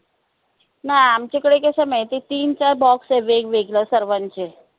नई आमच्याकडे कस माहिताय तीन चार box आहे वेगवेगळ्या सर्वांचे